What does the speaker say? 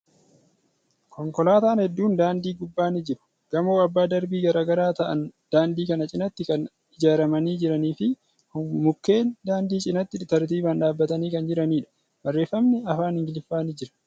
Konkolaatan hedduun daandii gubbaa ni jiru. Gamoo abbaa darbii garagaraa ta'an daandii kana cinaatti kan ijaaramanii jiranii fi mukkeen daandii cinaatti tartiiban dhaabbatanii kan jiraniidha. Barreeffamni afaan Ingiliffaa ni jira.